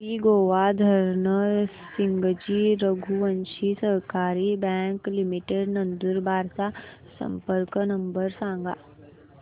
श्री गोवर्धन सिंगजी रघुवंशी सहकारी bank limited Nandurbar चा संपर्क नंबर सांगा